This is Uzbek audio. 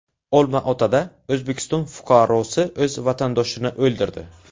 Olmaotada O‘zbekiston fuqarosi o‘z vatandoshini o‘ldirdi.